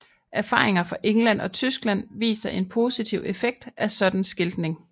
Erfaringer fra England og Tyskland viser en positiv effekt af sådan skiltning